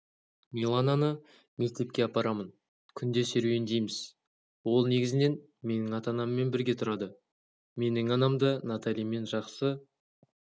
миланканы мектепке апарамын күнде серуендейміз ол негізінен менің ата-анаммен бірге тұрады менің анам да наталимен жақсы